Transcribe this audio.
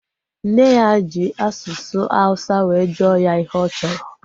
Nne ya ji asụsụ awụsa were jụọ ya ihe ọ chọrọ